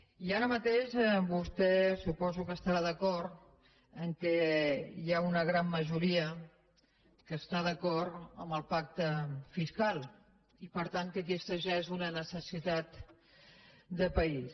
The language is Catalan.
i ara mateix vostè suposo que estarà d’acord que hi ha una gran majoria que està d’acord amb el pacte fiscal i per tant que aquesta ja és una necessitat de país